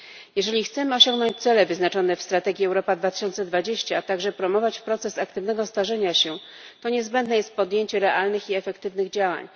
Jeżeli chcemy osiągnąć cele wyznaczone w strategii Europa 2020, a także promować proces aktywnego starzenia się, to niezbędne jest podjęcie realnych i efektywnych działań.